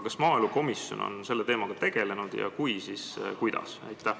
Kas maaelukomisjon on selle teemaga tegelenud ja kui on, siis kuidas?